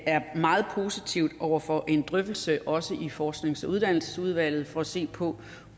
er meget positive over for en drøftelse også i forsknings og uddannelsesudvalget for at se på